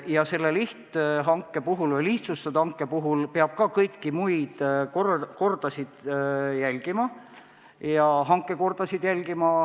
Ka selle lihthanke või lihtsustatud hanke puhul peab kõiki hankekordasid järgima.